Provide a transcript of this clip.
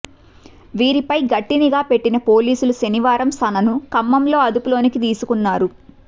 వీరిపై గట్టి నిఘా పెట్టిన పోలీసులు శనివారం సనను ఖమ్మంలో అదుపులోనికి తీసుకున్నారు